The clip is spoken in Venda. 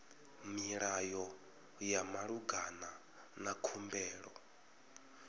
milayo ya malugana na khumbelo